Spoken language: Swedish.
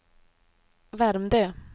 Värmdö